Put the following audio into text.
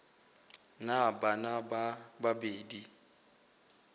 na le bana ba babedi